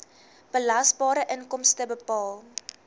belasbare inkomste bepaal